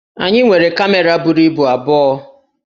Anyị nwere kamera buru ibu abụọ